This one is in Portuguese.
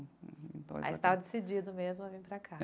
Aí você estava decidido mesmo a vir para cá.